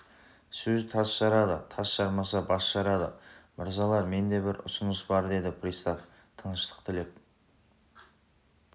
сөз тас жарады тас жармаса бас жарады мырзалар менде бір ұсыныс бар деді пристав тыныштық тілеп